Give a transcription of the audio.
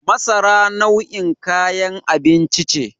Masara nau'in kayan abinci ce.